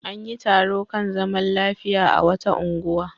An yi taro kan zaman lafiya a wata unguwa.